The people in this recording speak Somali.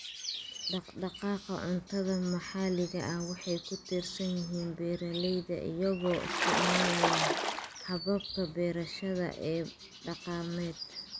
Dhaqdhaqaaqa cuntada maxalliga ah waxay ku tiirsan yihiin beeralayda iyagoo isticmaalaya hababka beerashada ee dhaqameed.